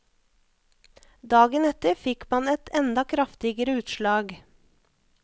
Dagen etter fikk man et enda kraftigere utslag.